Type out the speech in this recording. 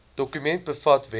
dokument bevat wenke